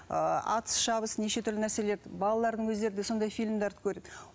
ы атыс шабыс неше түрлі нәрселер балалардың өздері де сондай фильмдерді көреді